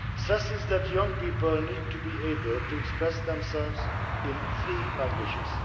stresses that young people need to be able to express themselves in three languages.